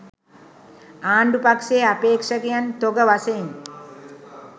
ආණ්ඩු පක්ෂයේ අපේක්ෂකයන් තොග වශයෙන්